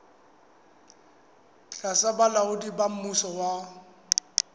tlasa bolaodi ba mmuso wa